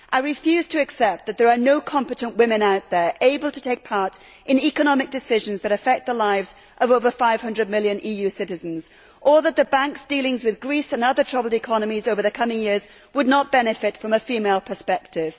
I refuse to accept that there are no competent women out there able to take part in economic decisions that affect the lives of over 500 million EU citizens or that the Bank's dealings with Greece and other troubled economies over the coming years would not benefit from a female perspective.